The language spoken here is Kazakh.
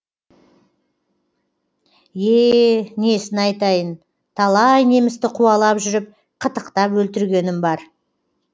е несін айтайын талай немісті қуалап жүріп қытықтап өлтіргенім бар